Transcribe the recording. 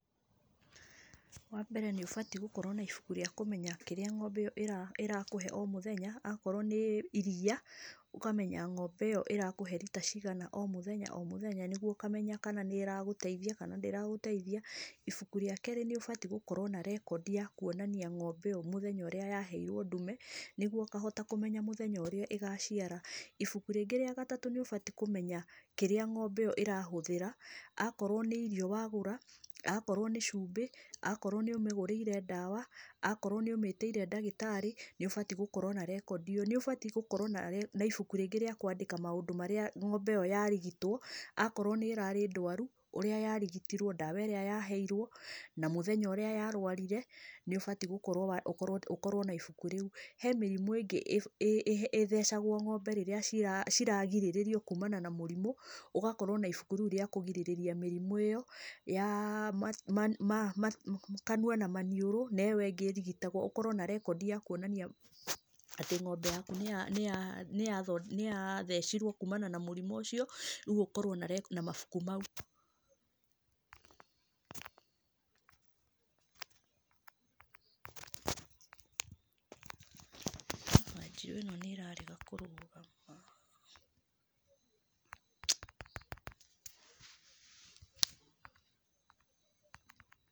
Wa mbere nĩ ũbatiĩ gũkorwo na ibuku rĩa kũmenya kĩrĩa ng'ombe ĩyo ĩrakũhe o mũthenya, akorwo nĩ iria ũkamenya ngombe ĩyo ĩrakũhe rita cigana o mũthenya o mũthenya, nĩguo ũkamenya kana nĩ ĩragũteithia kana ndĩragũteithia. Ibuku ria kerĩ, nĩũbatiĩ gũkorwo na rekondi ya kuonania mũthenya ũrĩa ng'ombe ĩyo yaheirwo ndume, nĩguo ũkahota kũmenya mũthenya ũrĩa ĩgaciara. Ibuku rĩngĩ rĩa gatatũ, nĩũbatiĩ kũmenya kĩrĩa ng'ombe ĩyo ĩrahũthĩra, akorwo nĩ irio wagũra, akorwo nĩ cumbĩ, akorwo nĩ ũmĩgũrĩire ndawa, akorwo nĩ ũmĩtĩire ndagĩtarĩ, nĩ wagĩrĩire gũkorwo na rekondi ĩyo. Nĩ ũbatiĩ gũkorwo na ibuku rĩngĩ rĩa kwandĩkwo maũndũ marĩa ng'ombe ĩyo yarigitwo, akorwo nĩ ĩrarĩ ndwaru, ũrĩa yarigitirwo, ndawa irĩa yaheirwo na mũthenya ũrĩa yarwarire, nĩũbatiĩ gũkorwo na ibuku rĩu. He mĩrimũ ĩngĩ ĩthecagwo ng'ombe rĩrĩa ciragirĩrĩrio kuumana na mĩrimũ, ũgakorwo na ibũkũ rĩu rĩa kũgirĩrĩria mĩrimũ ya kanua na maniũrũ, na ĩyo ĩngĩ ĩrigitagwo ũkorwo na rekondi ya kuonania atĩ, ng'ombe yaku nĩ ya thecirwo kumana na mũrimũ ũcio, rĩu ũkorwo na mabuku mau.